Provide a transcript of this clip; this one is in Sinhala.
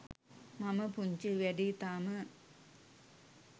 මම පුංචි වැඩියි තාම.